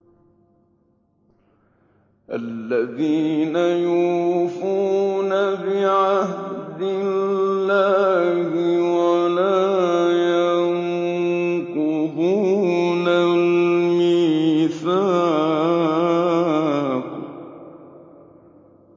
الَّذِينَ يُوفُونَ بِعَهْدِ اللَّهِ وَلَا يَنقُضُونَ الْمِيثَاقَ